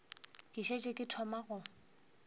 ke šetše ke thoma go